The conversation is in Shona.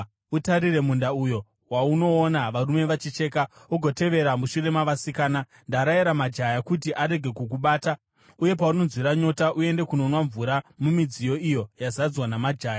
Utarire munda uyo waunoona varume vachicheka, ugotevera mushure mavasikana. Ndarayira majaya kuti arege kukubata. Uye paunonzwira nyota, uende kunonwa mvura mumidziyo iyo yazadzwa namajaya.”